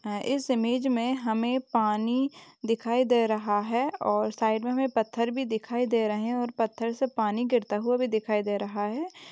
इस इमेज में हमें पानी दिखाई दे रहा है और साइड में हमें पत्थर भी दिखाई दे रहे हैं और पत्थर से पानी गिरता हुआ भी दिखाई दे रहा है।